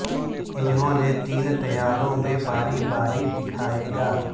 انہوں نے تین طیاروں میں باری باری دکھائے گا